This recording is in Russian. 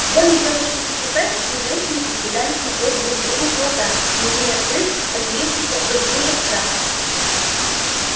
в доме тётушки питтипэт три женщины избегали смотреть друг другу в глаза не умея скрыть поселившийся в их душах страх